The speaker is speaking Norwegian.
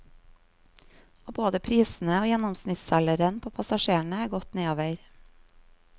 Og både prisene og gjennomsnittsalderen på passasjerene er gått nedover.